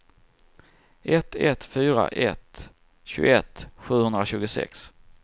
ett ett fyra ett tjugoett sjuhundratjugosex